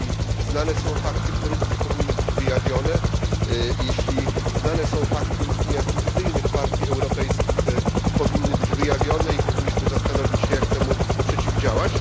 Jeśli znane są fakty korupcji powinny być wyjawione, jeśli znane są fakty istnienia fikcyjnych partii europejskich powinny być wyjawione i powinniśmy zastanowić się, jak temu przeciwdziałać.